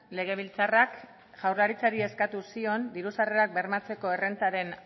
legebiltzarrak jaurlaritzari eskatu zion diru sarrerak bermatzeko errentaren